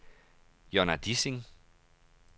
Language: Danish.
Jonna Dissing